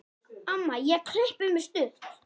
Amma ég klippi mig stutt.